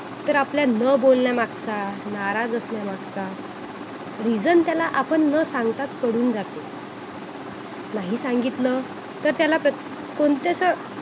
तर आपल्या न बोलण्यामागचा नाराज असल्या मागचा reason त्याला आपण न सांगताच करून जातो नाही सांगितलं तर त्याला क कोणतस